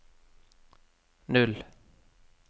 null